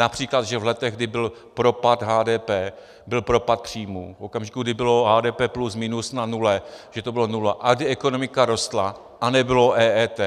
Například že v letech, kdy byl propad HDP, byl propad příjmů, v okamžiku, kdy bylo HDP plus minus na nule, že to byla nula, a kdy ekonomika rostla a nebylo EET,